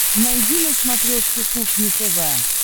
найди на смотрешке кухня тв